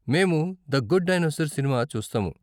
మేము the good dinosaur సినిమా చూస్తాము.